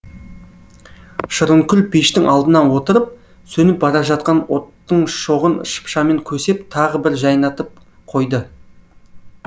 шырынкүл пештің алдына отырып сөніп бара жатқан оттың шоғын шыпшамен көсеп тағы бір жайнатып қойды